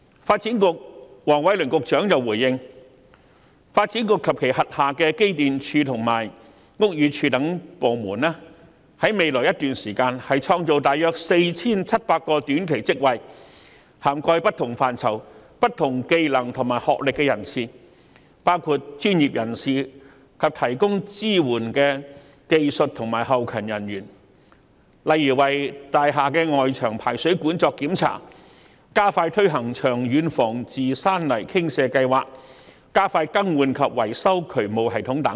發展局局長黃偉綸回應時表示，發展局及其轄下的機電署和屋宇署等部門會在未來一段時間創造約 4,700 個短期職位，當中涵蓋不同範疇、技能和學歷的人士，包括專業人士及提供支援的技術和後勤人員，例如檢查大廈外牆排水管、加快推行長遠防治山泥傾瀉計劃，以及加快更換及維修渠務系統等。